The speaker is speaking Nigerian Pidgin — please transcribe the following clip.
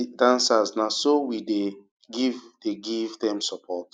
we dey cheer di dancers na so we dey give dey give dem support